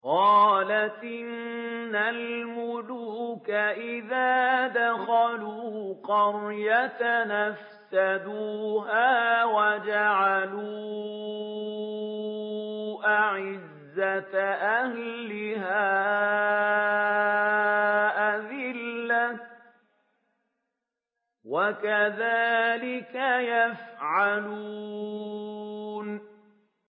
قَالَتْ إِنَّ الْمُلُوكَ إِذَا دَخَلُوا قَرْيَةً أَفْسَدُوهَا وَجَعَلُوا أَعِزَّةَ أَهْلِهَا أَذِلَّةً ۖ وَكَذَٰلِكَ يَفْعَلُونَ